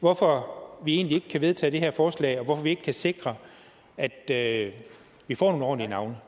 hvorfor vi egentlig ikke kan vedtage det her forslag og hvorfor vi ikke kan sikre at vi får nogle ordentlige navne